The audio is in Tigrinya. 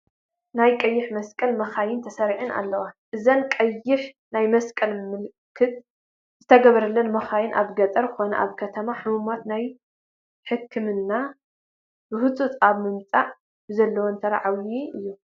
ናይ ቀይሕ መስቀል መኻይን ተሰሪዐን ኣለዎ፡፡ እዘን ቀይሕ ናይ መስቀል ምልክት ዝተገበረለን መኻይን ኣብ ገጠር ኮነ ኣብ ከተማ ሕሙማት ናብ ሕኽምና ብህፁፅ ኣብ ምብፃሕ ዘለወን ተራ ዓብዪ እዩ፡፡